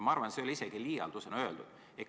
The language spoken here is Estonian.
Ma arvan, et see ei ole isegi liialdusena öeldud.